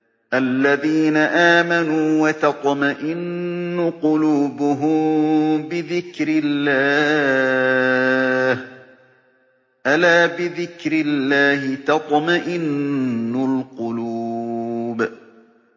الَّذِينَ آمَنُوا وَتَطْمَئِنُّ قُلُوبُهُم بِذِكْرِ اللَّهِ ۗ أَلَا بِذِكْرِ اللَّهِ تَطْمَئِنُّ الْقُلُوبُ